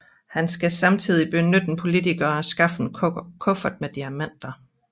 Han skal samtidig beskytte en politiker og skaffe en kuffert med diamanter